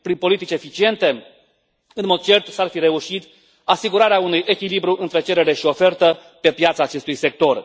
Prin politici eficiente, în mod cert s ar fi reușit asigurarea unui echilibru între cerere și ofertă pe piața acestui sector.